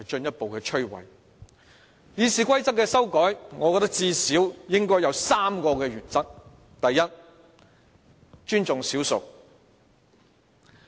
就修改《議事規則》而言，我認為最少有3個原則：第一，尊重少數。